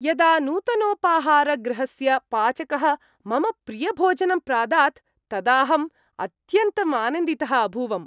यदा नूतनोपाहारगृहस्य पाचकः मम प्रियभोजनं प्रादात् तदाहं अत्यन्तं आनन्दितः अभूवम्।